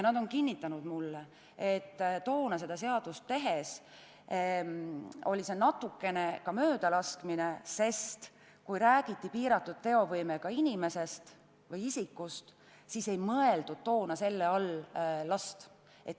Nad on kinnitanud mulle, et toona seadust tehes oli see natuke ka möödalaskmine, sest kui räägiti piiratud teovõimega inimesest või isikust, siis ei mõeldud selle all last.